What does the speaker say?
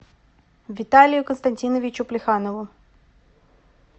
виталию константиновичу плеханову